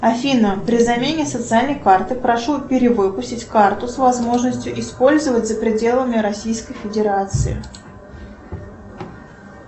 афина при замене социальной карты прошу перевыпустить карту с возможностью использовать за пределами российской федерации